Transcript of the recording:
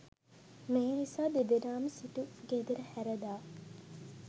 මේ නිසා දෙදෙනාම සිටු ගෙදර හැරදා